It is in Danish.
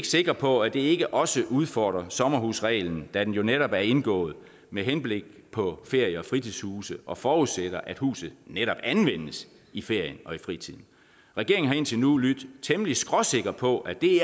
sikre på at det ikke også udfordrer sommerhusreglen da den jo netop er indgået med henblik på ferie og fritidshuse og forudsætter at huset netop anvendes i ferien og i fritiden regeringen har indtil nu lydt temmelig skråsikker på at det